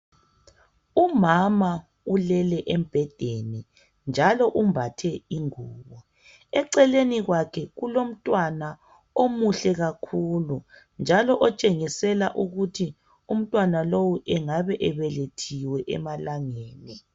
Umama ulele embhedeni njalo umbathe ingubo. Eceleni kwakhe kulomntwana omuhle kakhulu njalo otshengisela ukuthi umntwana lowo engabe ebelethiwe emalangeni.